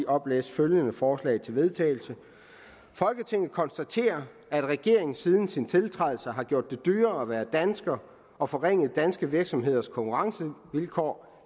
oplæse følgende forslag til vedtagelse folketinget konstaterer at regeringen siden sin tiltrædelse har gjort det dyrere at være dansker og forringet danske virksomheders konkurrencevilkår